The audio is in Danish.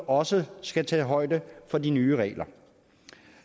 også skal tage højde for de nye regler